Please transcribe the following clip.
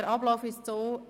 Der Ablauf ist wie folgt: